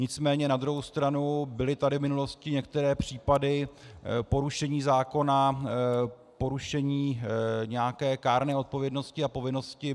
Nicméně na druhou stranu, byly tady v minulosti některé případy porušení zákona, porušení nějaké kárné odpovědnosti a povinnosti.